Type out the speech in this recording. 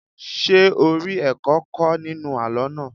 Ṣé o rí ẹ̀kọ́ kọ́ nínú àlọ́ náà?